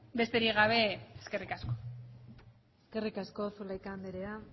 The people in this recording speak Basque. besterik gabe eskerrik asko eskerrik asko zulaika andrea